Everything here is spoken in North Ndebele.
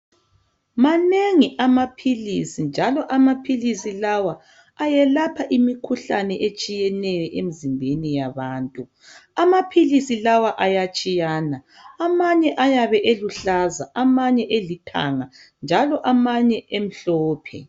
Manengi amaphilisi njalo amaphilisi lawa ayelapha imikhuhlane etshiyeneyo emizimbeni yabantu amaphilisi lawa ayatshiyana amanye ayabe eluhlaza amanye elithanga njalo amanye emhlophe.